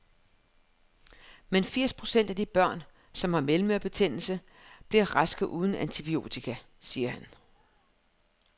Men firs procent af de børn, som har mellemørebetændelse, bliver raske uden antibiotika, siger han.